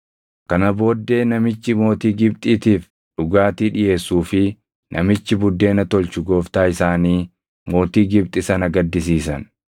Kana booddee namichi mootii Gibxiitiif dhugaatii dhiʼeessuu fi namichi buddeena tolchu gooftaa isaanii mootii Gibxi sana gaddisiisan.